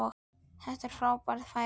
Það er frábær fæða.